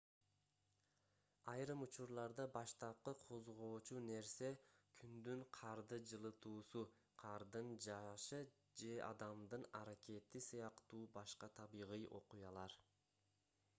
айрым учурларда баштапкы козгоочу нерсе күндүн карды жылытуусу кардын жаашы же адамдын аракети сыяктуу башка табигый окуялар